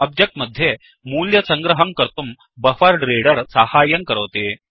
object मध्ये मूल्यसङ्ग्रहं कर्तुं बफरेड्रेडर साहाय्यं करोति